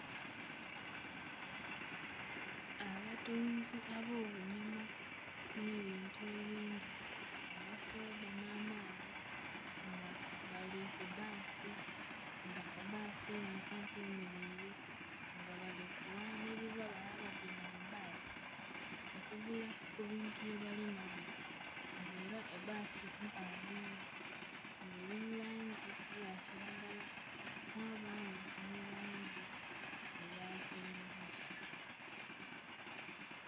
Abatunzi ab'obunyama nh'ebintu ebindhi amasoda nh'amaadhi nga bali ku basi nga basi eboneka nti eyemeleire. Nga bali kughanhiriza bale abatyaime mu basi okugula ebintu bye balinabyo nga era ebasi mpanvu inho nga eri mu langi eya kilagala, mwabaamu nhi langi eya kyenvu.